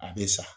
A bɛ sa